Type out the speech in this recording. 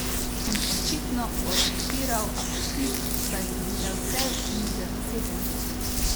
In očitno odpiral apetit, saj so bile vse mize zasedene.